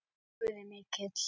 Guð er mikill.